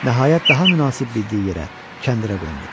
Nəhayət daha münasib bildiyi yerə, kəndirə qondu.